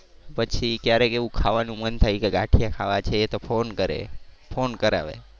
પછી ક્યારેક એવું ખાવાનું મન થાય કે ગાંઠિયા ખાવા છે તો ફોન કરે ફોન કરાવે.